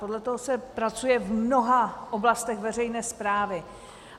Podle toho se pracuje v mnoha oblastech veřejné správy.